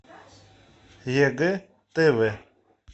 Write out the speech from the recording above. егэ тв